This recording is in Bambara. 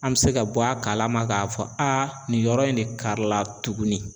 An bɛ se ka bɔ a kalama k'a fɔ nin yɔrɔ in de karila tuguni.